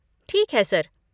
ठीक है, सर।